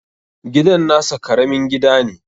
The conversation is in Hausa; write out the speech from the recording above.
Gidan nasa Karamin gida ne